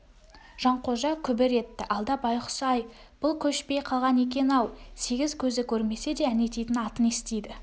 жанқожа күбір етті алда байғұс-ай бұл көшпей қалған екен-ау сегіз көзі көрмесе де әнетейдің атын естиді